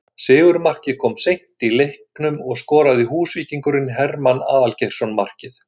Sigurmarkið kom seint í leiknum og skoraði Húsvíkingurinn Hermann Aðalgeirsson markið